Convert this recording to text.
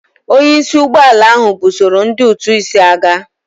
Onye isi ụgbọ ala ahụ busoro ndị ụtụ isi agha.